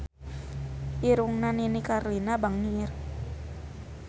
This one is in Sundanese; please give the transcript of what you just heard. Irungna Nini Carlina bangir